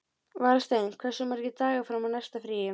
Valsteinn, hversu margir dagar fram að næsta fríi?